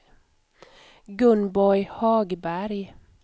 Gunborg Hagberg